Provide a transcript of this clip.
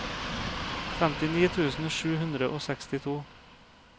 femtini tusen sju hundre og sekstito